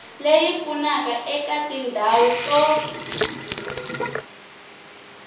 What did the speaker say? leyi pfunaka eka tindhawu to